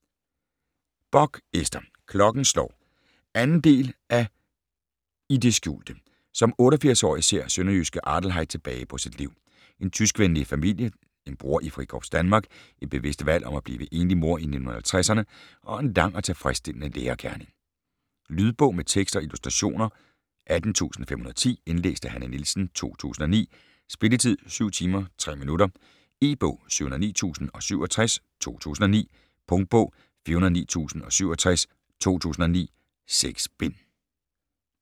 Bock, Ester: Klokken slår 2. del af I det skjulte. Som 88-årig ser sønderjyske Adeilheid tilbage på sit liv: En tyskvenlig familie, en bror i Frikorps Danmark, et bevidst valg om at blive enlig mor i 1950'erne og en lang og tilfredsstillende lærergerning. Lydbog med tekst og illustrationer 18510 Indlæst af Hanne Nielsen, 2009. Spilletid: 7 timer, 3 minutter. E-bog 709067 2009. Punktbog 409067 2009. 6 bind.